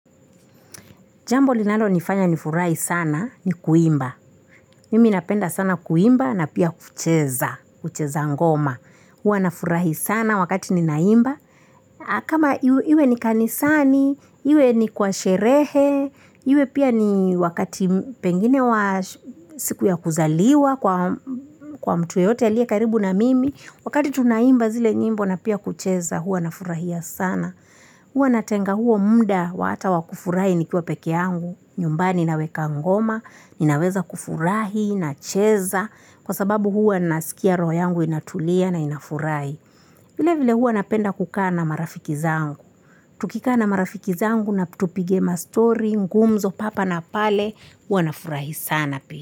Jambo linalo nifanya nifurahi sana ni kuimba. Mimi napenda sana kuimba na pia kucheza, kucheza ngoma. Huwa nafurahi sana wakati ninaimba. Kama iwe ni kanisani, iwe ni kwa sherehe, iwe pia ni wakati pengine wa siku ya kuzaliwa kwa mtu yeyote aliye karibu na mimi. Wakati tunaimba zile nyimbo na pia kucheza huwa na furahia sana. Huwa natenga huo muda wa hata wa kufurahi nikiwa peke yangu, nyumbani naweka ngoma, naweza kufurahi, nacheza, kwa sababu huwa nasikia roho yangu inatulia na inafurahi. Vile vile huwa napenda kukaa na marafiki zangu. Tukikaa na marafiki zangu na tupige mastori, ngumzo hapa na pale, hua nafurahi sana pia.